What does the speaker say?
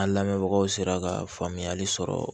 An lamɛnbagaw sera ka faamuyali sɔrɔ